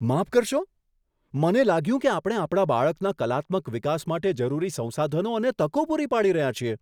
માફ કરશો? મને લાગ્યું કે આપણે આપણા બાળકના કલાત્મક વિકાસ માટે જરૂરી સંસાધનો અને તકો પૂરી પાડી રહ્યાં છીએ.